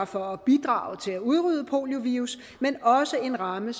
for at bidrage til at udrydde poliovirus men også en ramme